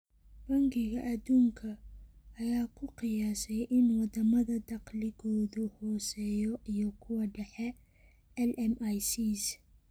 Bangiga Adduunka, ayaa ku qiyaasay in wadamada dakhligoodu hooseeyo iyo kuwa dhexe (LMICs)